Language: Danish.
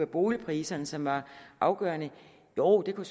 boligpriserne som var afgørende jo det kunne